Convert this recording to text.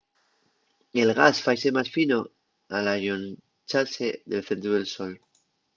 el gas faise más fino al allonxase del centru del sol